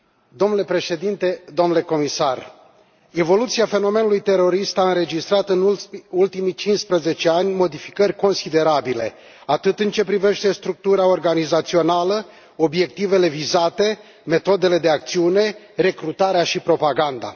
Domnule președinte, domnule comisar, evoluția fenomenului terorist a înregistrat, în ultimii cincisprezece ani, modificări considerabile, atât în ceea ce privește structura organizațională, cât și obiectivele vizate, metodele de acțiune, recrutarea și propaganda.